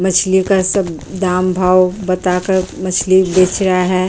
मछलियों का सब दाम भाव बता कर मछली बेच रहा है।